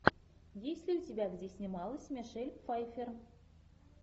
есть ли у тебя где снималась мишель пфайффер